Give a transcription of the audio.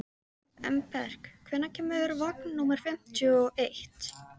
Embrek, hvenær kemur vagn númer fimmtíu og eitt?